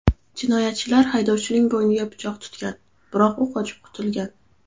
Jinoyatchilar haydovchining bo‘yniga pichoq tutgan, biroq u qochib qutulgan.